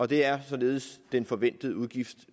det er således den forventede udgift